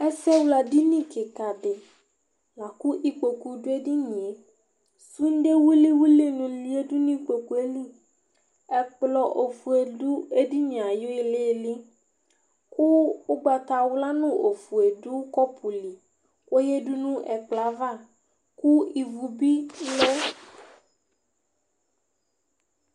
Ɛsɛ wla ɖɩnɩ kɩka ɖɩ, laku ɩkpo ɖu eɖɩnɩe, sũɖe wil wili ɖɩnɩ yaɖu nɩkpoelɩ Ɛkplɔ ofoe ɖu eɖɩnɩe ayɩlɩlɩ ku ugbata wla nu ofoe ɖu kɔpu lɩ kɔya ɖu nu ɛkplɔ ava, ku ɩvu bɩ lɛ